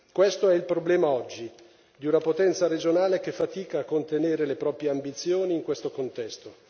Questo è il problema oggi, di una potenza regionale che fatica a contenere le proprie ambizioni in questo contesto.